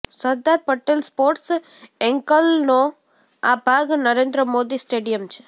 સરદાર Patel sports એન્કલનો આ ભાગ નરેન્દ્ર મોદી સ્ટેડીયમ છે